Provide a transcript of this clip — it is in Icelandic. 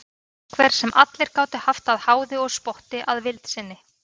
Einhver sem allir gátu haft að háði og spotti að vild sinni.